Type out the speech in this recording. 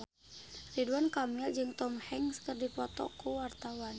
Ridwan Kamil jeung Tom Hanks keur dipoto ku wartawan